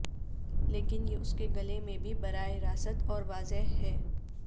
لیکن یہ اس کے گلے میں بھی براہ راست اور واضح ہے